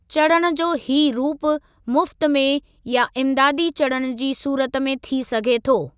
चढ़णु जो हीअ रूपु मुफ़्त में या इमदादी चढ़णु जी सूरत में थी सघे थो।